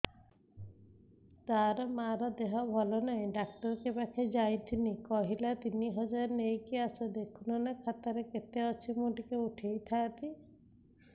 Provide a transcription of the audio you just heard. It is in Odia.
ତାର ମାର ଦେହେ ଭଲ ନାଇଁ ଡାକ୍ତର ପଖକେ ଯାଈଥିନି କହିଲା ତିନ ହଜାର ନେଇକି ଆସ ଦେଖୁନ ନା ଖାତାରେ କେତେ ଅଛି ମୁଇଁ ଟିକେ ଉଠେଇ ଥାଇତି